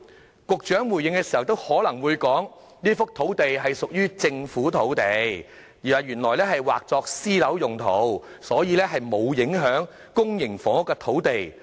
稍後局長回應時，可能又會說這幅土地屬於政府土地，原本劃作私樓用途，所以並無影響公營房屋土地。